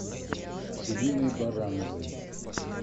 ириной барановой